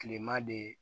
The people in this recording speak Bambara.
Kilema de